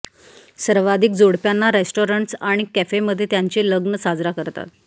सर्वाधिक जोडप्यांना रेस्टॉरंट्स आणि कॅफे मध्ये त्यांचे लग्न साजरा करतात